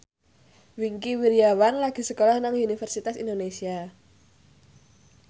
Wingky Wiryawan lagi sekolah nang Universitas Indonesia